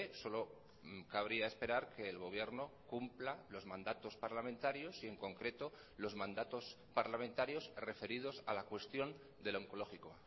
solo cabría esperar que el gobierno cumpla los mandatos parlamentarios y en concreto los mandatos parlamentarios referidos a la cuestión del oncológico